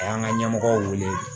A y'an ka ɲɛmɔgɔw wele